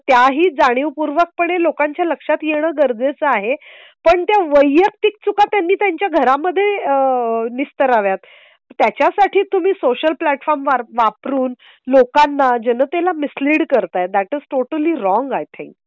त्या ही जाणीवपूर्वक पणे लोकांच्या लक्षात येणं गरजेचं आहे पण ते वैयक्तिक चुका त्यांनी त्यांच्या घरा मध्ये निस्तराव्यात त्याच्या साठी तुम्ही सोशल प्लॅटफॉर्म वापरून लोकांना जनते ला मिसलीड करताय that's totally wrong. I think